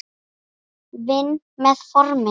Vinn með formin.